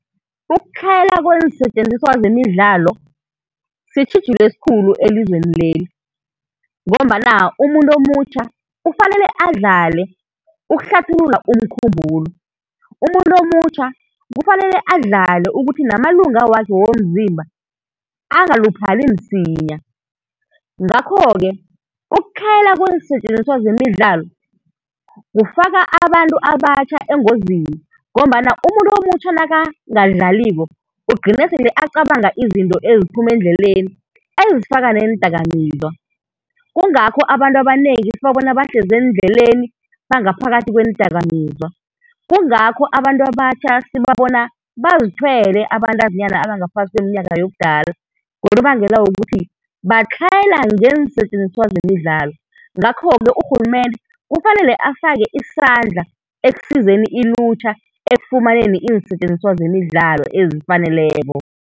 Ukutlhayela kweensetjenziswa zemidlalo sitjhijilo esikhulu elizweneli, ngombana umuntu omutjha kufanele adlale ukuhlathulula umkhumbulo, umuntu omutjha kufanele adlale ukuthi namalungu wakhe womzimba angaluphali msinya. Ngakho-ke ukutlhayela kweensetjenizswa zemidlalo kufaka abantu abatjha engozini ngombana umuntu omutjha nakangadlaliko ugcine sele acabanga izinto eziphuma endleleni ezifaka neendakamizwa. Kungakho abantu abanengi sibabona bahlezi eendleleni, bangaphakathi kweendakamizwa. Kungakho abantu abatjha sibabona bazithwele abantazinyana abangaphasi kweminyaka yobudala, ngonobangela wokuthi batlhayela ngeensetjenziswa zemidlalo. Ngakho-ke urhulumende kufanele afake isandla ekusizeni ilutjha ekufumaneni iinsetjenziswa zemidlalo ezifaneleko.